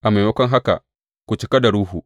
A maimako haka, ku cika da Ruhu.